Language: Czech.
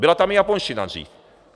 Byla tam i japonština dřív.